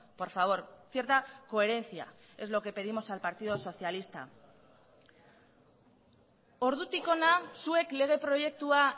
por favor cierta coherencia es lo que pedimos al partido socialista ordutik hona zuek lege proiektua